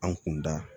An kun da